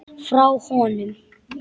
Frá honum!